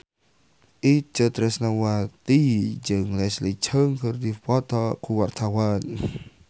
Itje Tresnawati jeung Leslie Cheung keur dipoto ku wartawan